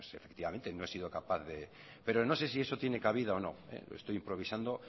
efectivamente no he sido capaz pero no sé si eso tiene cabida o no estoy improvisando